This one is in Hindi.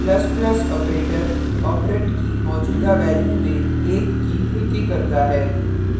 ++ operator operand की मौजूदा value में एक की वृद्धि करता है